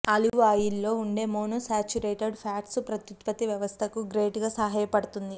olive ఆయిల్లో ఉండే monounsaturated fats ప్రత్యుత్పత్తి వ్యవస్థకు గ్రేట్ గా సహాయపడుతుంది